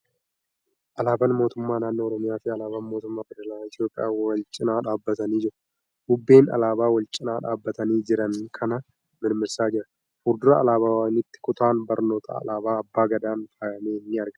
Alaabaan mootummaa naannoo Oromiyaa fi alaabaan mootummaa feederaalaa Itiyoophiyaa wal cinaa dhaabbatanii jiru. Bubbeen alaabaa wal cinaa dhaabbatanii jiran kana mirmirsaa jira. Fuuldura alaabawwaniitti kutaan barnootaa alaabaa Abbaa Gadaan faayame ni argama.